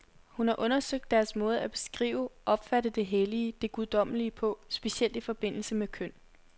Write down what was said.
Hun har undersøgt deres måde at beskrive, opfatte det hellige, det guddommelige på, specielt i forbindelse med køn.